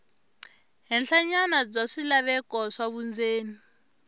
henhlanyana bya swilaveko swa vundzeni